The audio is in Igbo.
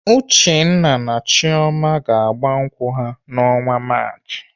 Uchenna na Chioma ga-agba nkwụ ha n'ọnwa Maachị.